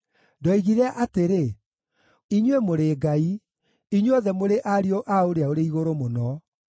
“Ndoigire atĩrĩ, ‘Inyuĩ mũrĩ “ngai”; inyuothe mũrĩ ariũ a Ũrĩa-ũrĩ-Igũrũ-Mũno.’